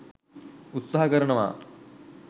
උත්සාහ කරනවා.